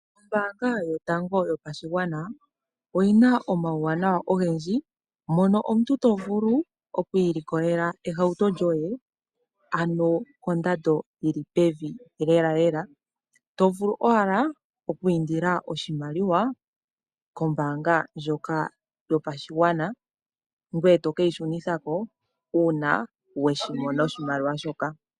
Ombaanga yotango yopashigwana, oyina omawu wanawa ogendji mono omuntu tovulu oku ilikolela ehauto lyoye, ano kondando yili pevi lela lela tovulu owala oku indila oshimaliwa kombaanga ndjoka yopashigwana ngoye toka shunitha ko uuna weshimono oshimaliwa shoka.